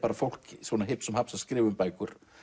fólk hipsum haps að skrifa um bækur